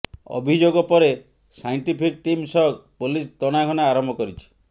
ଅଭିଯୋଗ ପରେ scientific team ସହ ପୋଲିସ ତନାଘନା ଆରମ୍ଭ କରିଛି